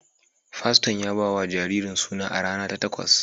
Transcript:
Faston ya ba wa jaririn suna a rana ta takwas